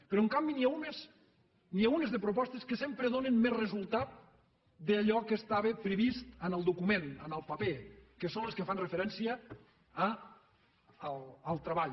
però en canvi n’hi ha unes de propostes que sempre donen més resultat que allò que estava previst en el document en el paper que són les que fan referència al treball